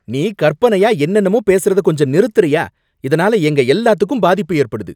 நீ கற்பனையா என்னென்னமோ பேசறத கொஞ்சம் நிறுத்தறயா! இதுனால எங்க எல்லாத்துக்கும் பாதிப்பு ஏற்படுது.